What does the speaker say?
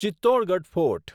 Chittorgarh fort